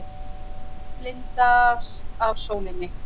Blindast af sólinni.